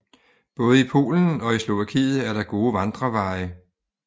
Både i Polen og i Slovakiet er der gode vandreveje